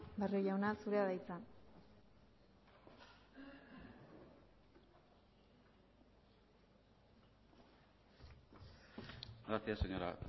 barrio jauna zurea da hitza gracias señora